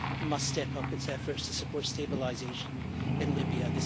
must step up its efforts to support stabilisation in Libya.